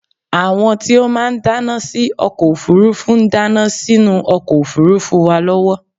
àwọn tí ó máà ń dáná sí ọkọ òfurufú ń dáná sínú ọkọ òfurufú wa lọwọ